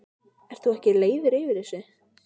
pass Hver var átrúnaðargoð þitt á yngri árum?